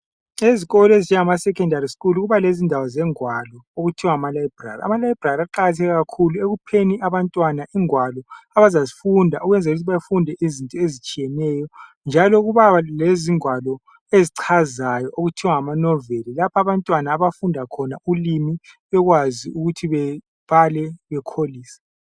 Ezikolo ezinjengama secondary school kuba lezindawo zengwalo okuthiwa ngama library. Ama library aqakatheke kakhulu ekupheni abantwana ingwalo abazazifunda ukwenzelukuthi befunde izinto ezitshiyeneyo njalo kuba lezingwalo ezichazayo okuthiwa ngama noveli lapha abantwana abafunda khona ulimi bekwazi ukuthi bebale bekholise.